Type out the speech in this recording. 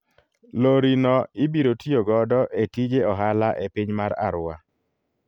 Lori no ibiro tiyo godo e tije ohala e piny mar Arua.